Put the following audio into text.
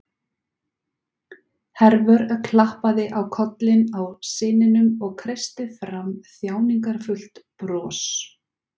Hervör klappaði á kollinn á syninum og kreisti fram þjáningarfullt bros.